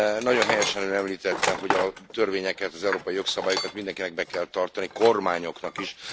Nagyon helyesen Ön említette, hogy a törvényeket, az európai jogszabályokat mindenkinek be kell tartani, kormányoknak is.